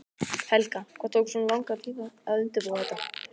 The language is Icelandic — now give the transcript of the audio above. Helga: Hvað tók svona langan tíma að undirbúa þetta?